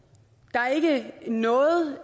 der er ikke noget